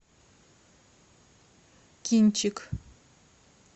кинчик